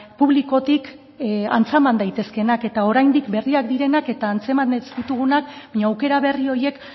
publikotik antzeman daitezkeenak eta oraindik berriak direnak eta antzeman ez ditugunak baina aukera berri horiek